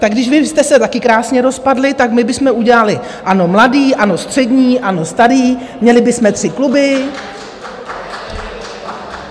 Tak když vy jste se taky krásně rozpadli, tak my bychom udělali ANO mladý, ANO střední, ANO starý, měli bychom tři kluby.